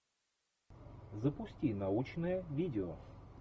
запусти научное видео